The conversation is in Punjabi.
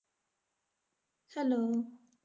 Hello